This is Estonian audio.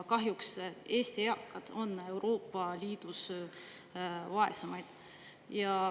Kahjuks Eesti eakad on Euroopa Liidus vaesemaid.